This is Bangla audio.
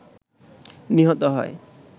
নিহত হয়